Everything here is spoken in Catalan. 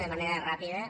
de manera ràpida